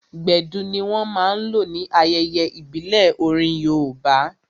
Gbedu ní wọ́n máa n lò ní ayẹyẹ ìbílẹ̀ orin yoòbá